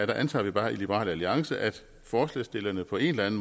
der antager vi bare i liberal alliance at forslagsstillerne på en